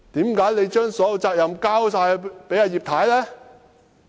為何你把所有責任交給葉太呢？